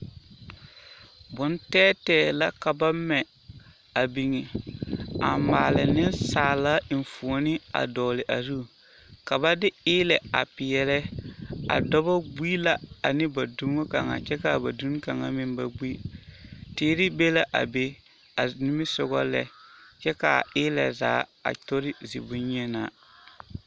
Bontɛɛtɛɛ la ka ba mɛ a biŋ, a maale nensaala enfuoni a dɔgele a zu ka ba de eelɛ a peɛle a dɔbɔ gbie la ane ba duni kaŋa kyɛ k'a ba duni kaŋa meŋ ba gbi, teere be la a be a nimisogɔ lɛ kyɛ k'a eelɛ zaa a tori zibonyenaa.